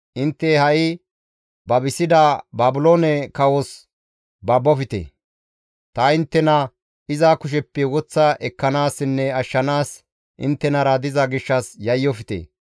Intte ha7i babisida Baabiloone kawos babofte! Ta inttena iza kusheppe woththa ekkanaassinne ashshanaas inttenara diza gishshas yayyofte!